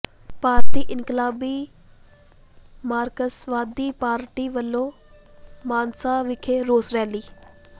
ਭਾਰਤੀ ਇਨਕਲਾਬੀ ਮਾਰਕਸਵਾਦੀ ਪਾਰਟੀ ਵਲੋਂ ਮਾਨਸਾ ਵਿਖੇ ਰੋਸ ਰੈਲੀ